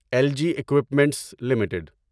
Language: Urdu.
algae equipments limited